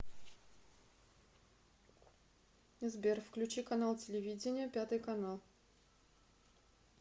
сбер включи канал телевидения пятый канал